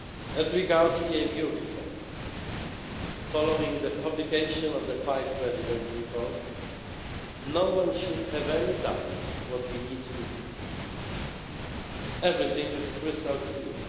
As regards EMU reform, following the publication of the Five Presidents' Report no one should have any doubts what we need to do everything is crystal clear.